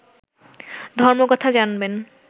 ধর্মকথা জানবেন